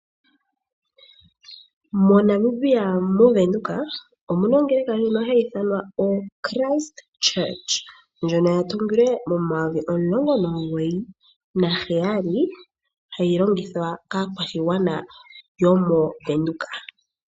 MoNamibia moVenduka omu na ongeleka ndjono hayi ithanwa oChrist Church ndjono ya tungilwe momayovi omilongo omugoyi naheyali, hayi longithwa kaa kwashigwana yo mo Venduka.